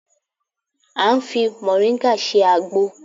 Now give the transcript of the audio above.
A ń fi mọ̀ríngà ṣe àgbo